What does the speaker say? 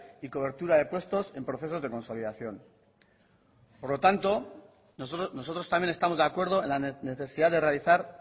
y cobertura de puestos en procesos de consolidación por lo tanto nosotros también estamos de acuerdo en la necesidad de realizar